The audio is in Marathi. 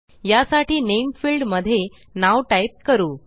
यासाठी नामे फिल्ड मध्ये नाव टाईप करू